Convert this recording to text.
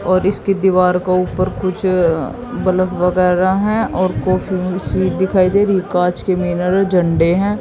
और इसकी दीवार को ऊपर कुछ बल्ब वगैरह हैं और कॉफी मशीन दिखाई दे रही कांच के मिनरेड झंडे हैं।